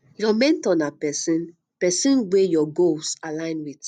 your mentor na person person wey your goals align with